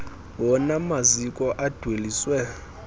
wona maziko adweliswe